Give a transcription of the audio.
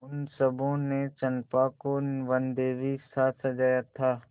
उन सबों ने चंपा को वनदेवीसा सजाया था